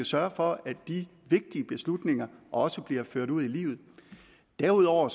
sørge for at de vigtige beslutninger også bliver ført ud i livet derudover